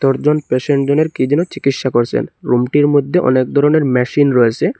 একজন পেশেন্ট জনের কি যেন চিকিৎসা করসেন রুম টির মদ্যে অনেক দরনের ম্যাশিন রয়েসে।